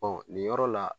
nin yɔrɔ la